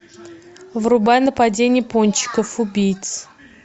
врубай нападение пончиков убийц